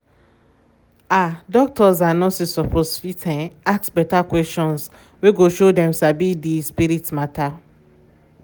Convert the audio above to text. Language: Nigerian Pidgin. ah doctors and nurses suppose fit um ask beta questions wey go show dem sabi di um spirit matter. um